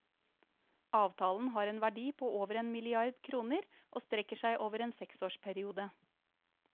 Avtalen har en verdi på over en milliard kroner og strekker seg over en seksårsperiode.